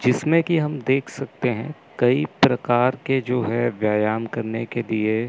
जिसमें कि हम देख सकते हैं कई प्रकार के जो है व्यायाम करने के लिए--